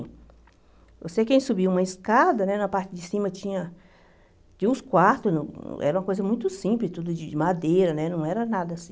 Eu sei que a gente subia uma escada, né na parte de cima tinha tinha uns quartos, era uma coisa muito simples, tudo de madeira, né não era nada assim.